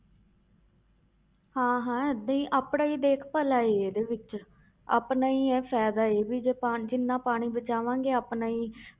ਹਾਂ ਹਾਂ ਏਦਾਂ ਹੀ ਆਪਣਾ ਹੀ ਦੇਖ ਭਲਾਈ ਹੈ ਇਹਦੇ ਵਿੱਚ ਆਪਣਾ ਹੀ ਹੈ ਵੀ ਜੇ ਪਾ~ ਜਿੰਨਾ ਪਾਣੀ ਬਚਾਵਾਂਗੇ ਆਪਣਾ ਹੀ